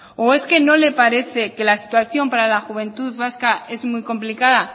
o es que no le parece que la situación para la juventud vasca es muy complicada